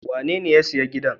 Wanene ya siya giɗan?